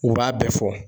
U b'a bɛɛ fɔ